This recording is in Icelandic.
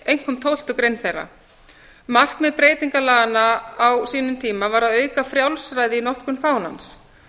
einkum tólftu grein þeirra markmið breytingalaganna á sínum tíma var að auka frjálsræði í notkun fánans